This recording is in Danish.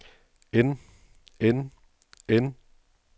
end end end